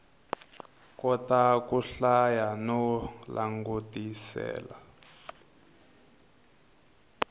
kota ku hlaya no langutisela